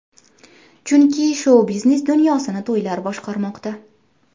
Chunki, shou-biznes dunyosini to‘ylar boshqarmoqda!